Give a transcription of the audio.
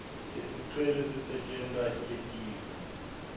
lesicelo sisetjentwa litiko